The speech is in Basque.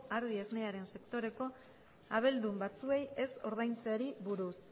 ardi esnearen sektoreko abeldun batzuei ez ordaintzeari buruz